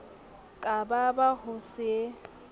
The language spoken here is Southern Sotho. ka ba ba ho se